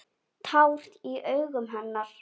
Tár í augum hennar.